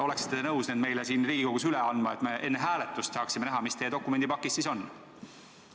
Oleksite te nõus need meile siin Riigikogus üle andma, et me enne hääletust saaksime näha, mis teie dokumendipakis siis on?